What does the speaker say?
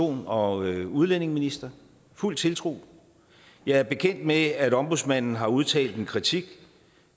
og udlændingeminister fuld tiltro jeg er bekendt med at ombudsmanden har udtalt en kritik